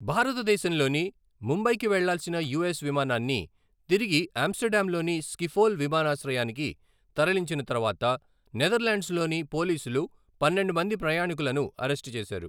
భారతదేశంలోని ముంబైకి వెళ్లాల్సిన యూఎస్ విమానాన్ని తిరిగి ఆమ్స్టర్డామ్లోని స్కిఫోల్ విమానాశ్రయానికి తరలించిన తర్వాత నెదర్లాండ్స్లోని పోలీసులు పన్నెండు మంది ప్రయాణికులను అరెస్టు చేశారు.